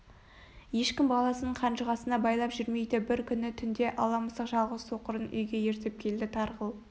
ешкім баласын қанжығасына байлап жүрмейді бір күні түнде ала мысық жалғыз соқырын үйге ертіп келді тарғыл